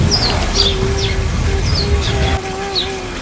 ये तस्वीर में एक पुरुष भी नजर आ रहा है।